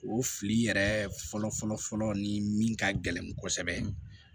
O fili yɛrɛ fɔlɔ fɔlɔ fɔlɔ ni min ka gɛlɛn kosɛbɛ